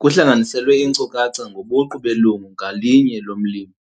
Kuhlanganiselwe iinkcukacha ngobuqu belungu ngalinye lomlimi.